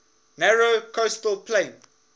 narrow coastal plain